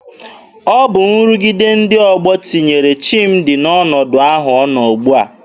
Ọ bụ nrụgide ndị ọgbọ tinyere Chimdi n'ọnọdụ ahụ ọ nọ ugbua.